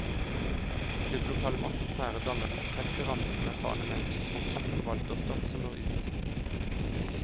Et klubblokale med atmosfære danner den perfekte ramme for erfarne menn som fortsatt forvalter stoff som bør ut.